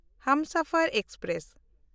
Humsafar express